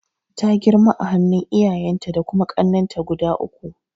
Ta girma a hannun iyayenta da kuma kannenta guda uku.